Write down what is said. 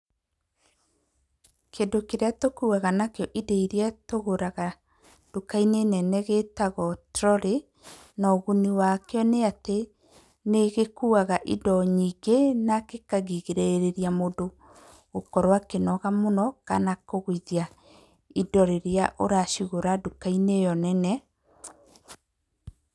Kĩndũ kĩrĩa tũkuuaga nakio indo irĩa tũgũraga nduka-inĩ nene gĩĩtagwo trori, na ũguni wakĩo nĩ atĩ, nĩgĩkũaga indo nyingĩ na gĩkarigĩrĩria mũndũ gũkorwo akĩnoga mũno, kana kũgũithia indo rĩrĩa ũracigũra nduka-inĩ ĩyo nene.